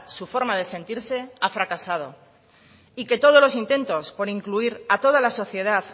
su forma de sentirse ha fracasado y que todos los intentos por incluir a toda la sociedad